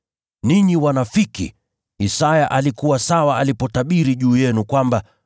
Ninyi wanafiki! Isaya alikuwa sawa alipotabiri juu yenu kwamba: